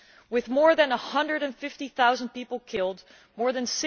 With more than 150000 people killed, more than